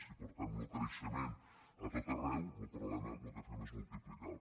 si portem lo creixement a tot arreu lo problema lo que fem és multiplicar lo